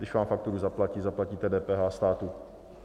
Když vám fakturu zaplatí, zaplatíte DPH státu.